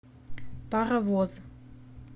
паровоз